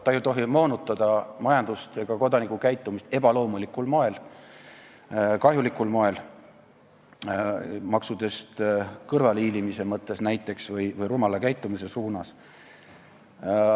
Ta ei tohi moonutada majandust ega kodaniku käitumist ebaloomulikul, kahjulikul moel, näiteks maksudest kõrvalehiilimise mõttes või rumala käitumise suunas.